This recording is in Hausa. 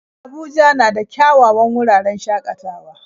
Abuja na da kyawawan wuraren shakatawa